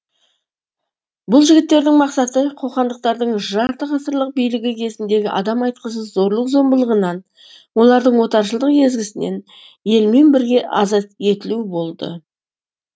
бұл жігіттердің мақсаты қоқандықтардың жарты ғасырлық билігі кезіндегі адам айтқысыз зорлық зомбылығынан олардың отаршылдық езгісінен елмен бірге азат етілу болды